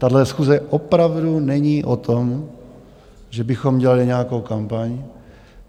Tahle schůze opravdu není o tom, že bychom dělali nějakou kampaň.